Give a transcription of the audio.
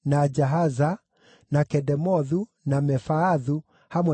na Kedemothu, na Mefaathu, hamwe na ũrĩithio wamo;